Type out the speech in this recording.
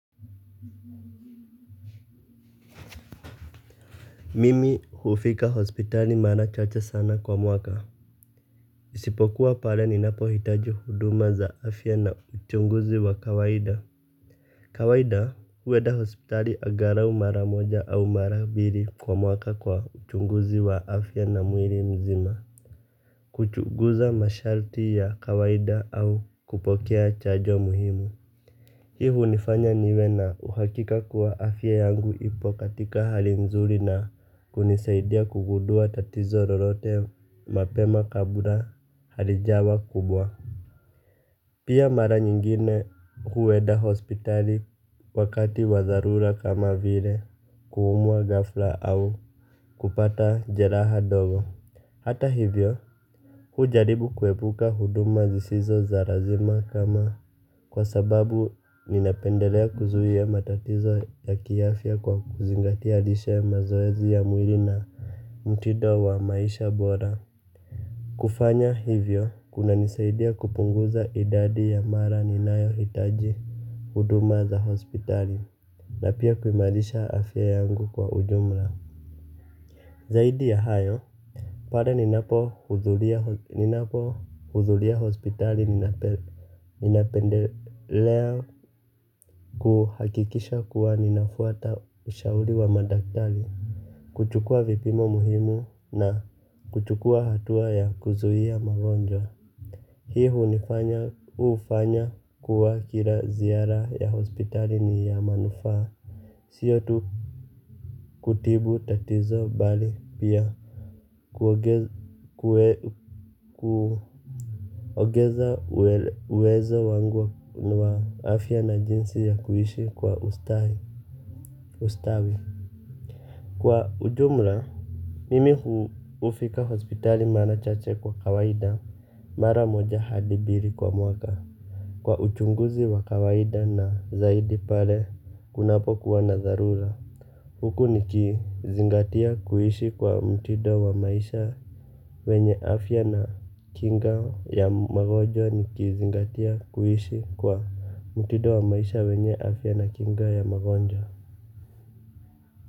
Mimi hufika hospitali mara chache sana kwa mwaka. Isipokuwa pale ninapohitaji huduma za afya na uchunguzi wa kawaida. Kawaida huenda hospitali agarau mara moja au mara bili kwa mwaka kwa uchunguzi wa afya na mwiri mzima. Kuchunguza masharti ya kawaida au kupokea chajo muhimu. Hii hunifanya niwe na uhakika kuwa afya yangu ipo katika hali nzuri na kunisaidia kugudua tatizo rorote mapema kabla halijawa kubwa. Pia mara nyingine hueda hospitali wakati wa dharura kama vile kuumwa ghafla au kupata jeraha dogo. Hata hivyo hujaribu kuepuka huduma zisizo za razima kama kwa sababu ninapendelea kuzuia matatizo ya kiafya kwa kuzingatia lishe mazoezi ya mwili na mtido wa maisha bora. Kufanya hivyo, kunanisaidia kupunguza idadi ya mara ninayohitaji huduma za hospitali na pia kuimarisha afya yangu kwa ujumla. Zaidi ya hayo, pare ninapohudhulia hospitali ninapendelea kuhakikisha kuwa ninafuata ushauri wa madaktali. Kuchukua vipimo muhimu na kuchukua hatua ya kuzuia magonjwa. Hii hunifanya hufanya kuwa kila ziara ya hospitali ni ya manufaa. Siyo tu kutibu tatizo bali pia kuongeza uwezo wangu wa afya na jinsi ya kuishi kwa ustawi. Kwa ujumla, mimi hufika hospitali mara chache kwa kawaida. Mara moja hadi biri kwa mwaka kwa uchunguzi wa kawaida na zaidi pale kunapokuwa na dharula huku nikizingatia kuishi kwa mtido wa maisha wenye afya na kinga ya magonjwa nikizingatia kuishi kwa mtido wa maisha wenye afya na kinga ya magonjwa.